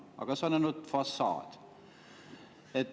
Aga see on ainult fassaad.